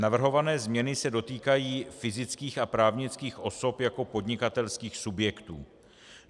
Navrhované změny se dotýkají fyzických a právnických osob jako podnikatelských subjektů.